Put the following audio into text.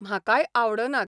म्हाकाय आवडनात.